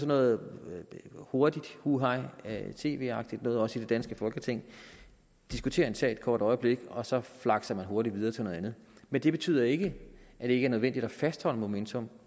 noget hurtigt hu hej tv agtigt noget også i det danske folketing diskutere en sag et kort øjeblik og så flakse hurtigt videre til noget andet men det betyder ikke at det ikke er nødvendigt at fastholde momentum